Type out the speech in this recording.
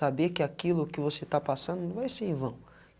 Saber que aquilo que você está passando, não vai ser em vão.